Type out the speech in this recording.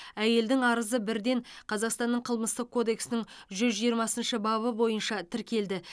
әйелдің арызы бірден қазақстанның қылмыстық кодексінің жүз жиырмасыншы бабы бойынша тіркелді